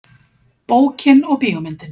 Bókin og bíómyndin.